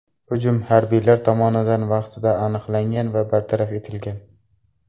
Hujum harbiylar tomonidan vaqtida aniqlangan va bartaraf etilgan.